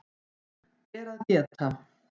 Ber að geta